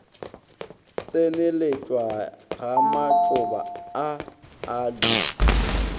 tseneletšwa ga matšoba a aloe